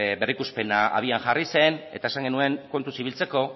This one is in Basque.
berrikuspena abian jarri zen eta esan genuen kontuz ibiltzeko